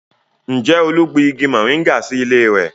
Ǹjẹ́ Olú gbin igi moringa sí ilé rẹ̀?